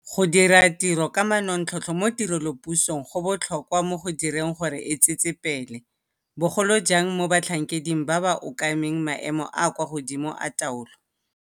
Go diratiro ka manontlhotlho mo tirelopusong go botlhokwa mo go direng gore e tsetsepele, bogolo jang mo batlhankeding ba ba okameng maemo a a kwa godimo a taolo.